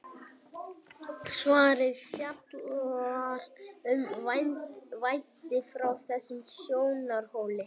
svarið fjallar um vændi frá þessum sjónarhóli